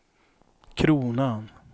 kronan